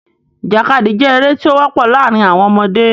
Ìjàkadì jẹ́ eré tí ó wọ́pọ̀ láàrin àwọn ọmọdé.